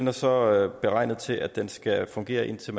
er så beregnet til at den skal fungere indtil